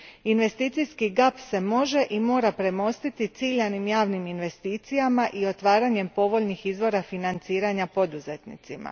Investicijski gap se može i mora premostiti ciljanim javnim investicijama i otvaranjem povoljnih izvora financiranja poduzetnicima.